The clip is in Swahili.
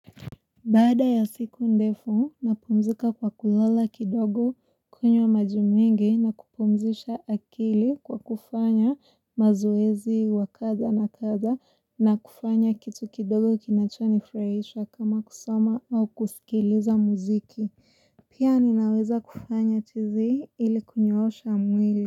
Baada ya siku ndefu, napumzika kwa kulala kidogo kunywa maji mengi na kupumzisha akili kwa kufanya mazoezi wa kadha na kadha na kufanya kitu kidogo kinacho nifurasha kama kusoma au kusikiliza muziki. Pia ninaweza kufanya tizi ili kunyoosha mwili.